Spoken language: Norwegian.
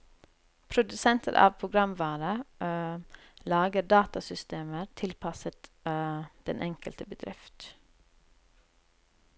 Produsenter av programvare lager datasystemer tilpasset den enkelte bedrift.